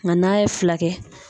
Nga n'a ye fila kɛ